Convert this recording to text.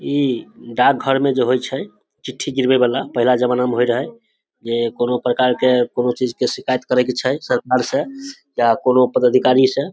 इ डाक घर में जे होय छै चिट्ठी गिरबे वला पहला जमाना में होय रहे जे कोनो प्रकार के कुनू चीज के शिकायत करे के छै सरकार से या पदाधिकारी से --